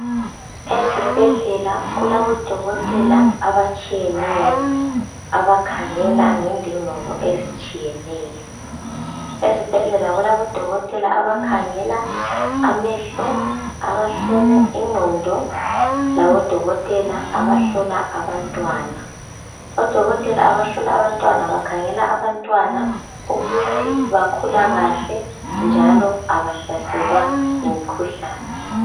Ezibhedlela kulabodokotela abatshiyeneyo abakhangela ngendingeko ezitshiyeneyo. Ezibhedlela kulabodokotela abakhangela amehlo, abahlola ingqondo labodokotela abahlola abantwana. Odokotela abahlola abantwana bakhangela abantwana ukuthi bakhula kahle njalo abahlaselwa yimikhuhlane.